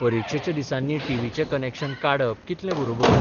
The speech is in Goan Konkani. परिक्षेच्या दिसांनी टीव्हीचें कनेक्शन काडप कितलें बरोबर?